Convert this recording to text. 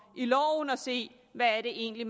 i loven og se hvad det egentlig